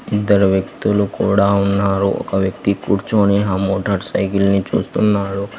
ఇద్దరు వ్యక్తులు కూడా ఉన్నారు ఒక వ్యక్తి కూర్చోని ఆ మోటార్స్ సైకిల్ ని చూస్తున్నాడు.